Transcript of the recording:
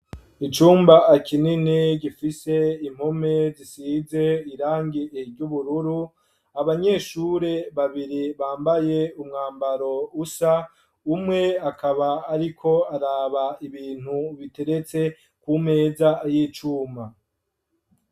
Icumba kinini gifise impome zisize irangi ry'ubururu abanyeshure babiri bambaye umwambaro usa, umwe akaba ariko araba ibintu biteretse ku meza y'icuma.